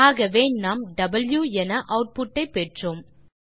ஆகவே நாம் வாவ் என ஆட்புட் ஐ பெற்றோம்